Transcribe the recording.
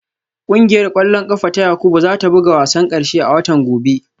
Kungiyar kwallon kafa ta Yakubu za ta buga wasan karshe a watan gobe